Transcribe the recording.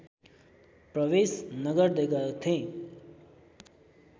प्रवेश नगर्दै गर्थेँ